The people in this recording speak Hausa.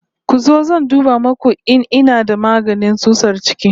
Ku zo zan duba muku in ina da magani tsutsar ciki